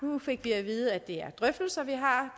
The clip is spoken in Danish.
nu fik vi at vide at det er drøftelser vi har